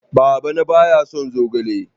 Baba na ba ya son zogale